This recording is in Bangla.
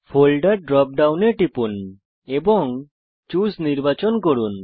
ফোল্ডের ড্রপ ডাউনে টিপুন এবং চুসে নির্বাচন করুন